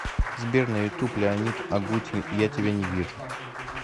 сбер на ютуб леонид агутин я тебя не вижу